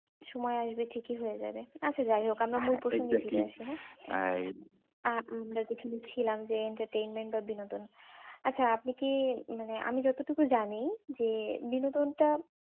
কিছু সময় আসবে ঠিকই হয়ে যাবে। আচ্ছা যাইও হোক, আপনার মূল প্রসঙ্গ টা কি? আহ আমরা তো ওখানে ছিলাম যে entertainment টা বিনোদন আচ্ছা আপনি কি মানে আমি যতটুকু জানি যে বিনোদন টা